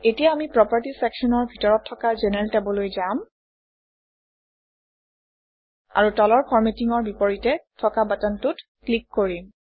এতিয়া আমি প্ৰপাৰ্টিজ চেকশ্যনৰ ভিতৰত থকা জেনাৰেল টেবলৈ যাম আৰু তলৰ Formatting অৰ বিপৰীতে থকা বাটনটোত ক্লিক কৰিম